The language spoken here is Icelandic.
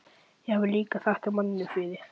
Ég hafði líka þakkað manninum fyrir.